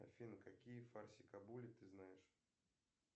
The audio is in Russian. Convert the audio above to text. афина какие фарсикабули ты знаешь